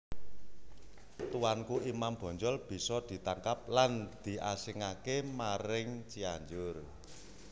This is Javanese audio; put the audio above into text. Tuanku Imam Bonjol bisa ditangkap lan diasingke maring Cianjur